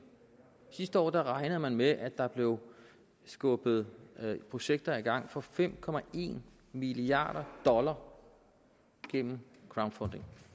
sidste år regnede man med at der blev skubbet projekter i gang for fem milliard dollar gennem crowdfunding